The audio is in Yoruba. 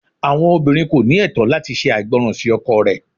Awọn obinrin ko ni ẹtọ lati ṣe aigbọran si ọkọ rẹ